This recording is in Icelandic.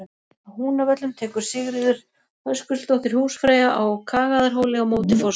Á Húnavöllum tekur Sigríður Höskuldsdóttir húsfreyja á Kagaðarhóli á móti forseta.